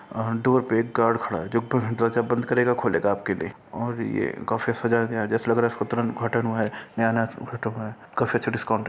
आ door पर एक guard खड़ा है जो बंद करेगा खोलेगा आपके लिए और ये काफी सजाया है जैसे लग रहा है तुरंत उद्घाटन हुआ नया नया काफी अच्छा डिस्काउंट --